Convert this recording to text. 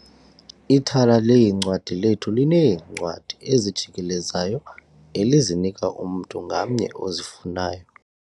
Ithala leencwadi lethu lineencwadi ezijikelezayo elizinika umntu ngamnye ozifunayo.